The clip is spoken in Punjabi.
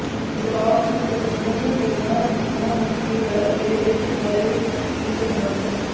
ਬਦਲਾਵ ਨੂੰ ਪ੍ਰਬੰਧਨ ਕਰਨਾ ਇੰਨਾ ਮੁਸ਼ਕਲ ਹੈ ਅਤੇ ਇਸ ਬਾਰੇ ਕੀ ਕਰਨਾ ਹੈ